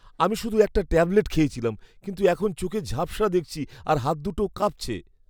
আমি শুধু একটা ট্যাবলেট খেয়েছিলাম, কিন্তু এখন চোখে ঝাপসা দেখছি আর হাত দুটোও কাঁপছে।